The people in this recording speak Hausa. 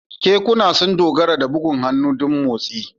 Kekuna sun dogara da bugun hannu don motsi.